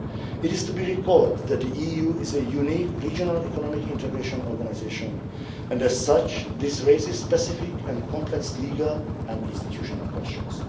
It is to be recalled that the EU is a unique regional economic integration organisation and, as such, this raises specific and complex legal and institutional questions.